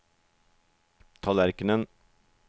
tallerkenen